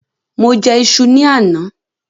Mo jẹ ìṣù ni àná.